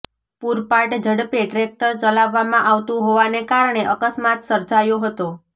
પુરપાટ ઝડપે ટ્રેકટર ચલાવવામાં આવતું હોવાને કારણે અકસ્માત સર્જાયો હતો